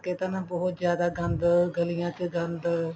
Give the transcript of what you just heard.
ਕਰਕੇ ਤਾਂ ਨਾ ਬਹੁਤ ਜ਼ਿਆਦਾ ਗੰਦ ਗਲੀਆਂ ਚ ਗੰਦ